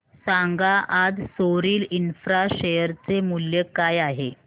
सांगा आज सोरिल इंफ्रा शेअर चे मूल्य काय आहे